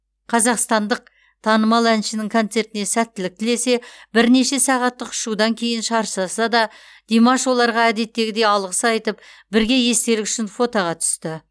қазақстандық танымал әншінің концертіне сәттілік тілесе бірнеше сағаттық ұшудан кейін шаршаса да димаш оларға әдеттегідей алғыс айтып бірге естелік үшін фотоға түсті